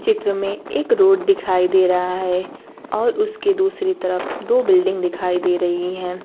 चित्र में एक रोड दिखाई दे रहा है और उसके दूसरी तरफ दो बिल्डिंग दिखाई दे रहीं हैं।